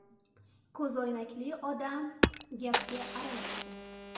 Ko‘zoynakli odam gapga aralashdi.